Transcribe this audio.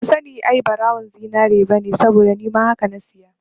Ban sani ai ɓarawon zinari bane saboda nima haka na saya